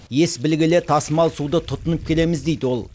ес білгелі тасымал суды тұтынып келеміз дейді ол